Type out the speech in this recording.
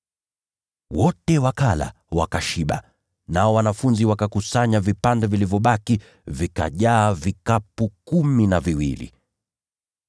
Wote wakala, wakashiba. Nao wanafunzi wakakusanya vipande vilivyosalia, wakajaza vikapu kumi na viwili.